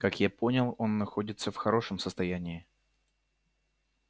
как я понял он находится в хорошем состоянии